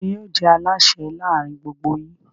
Ta ni yóò jẹ́ alásè láàárin gbogbo yín?